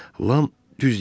Lam düz deyirdi.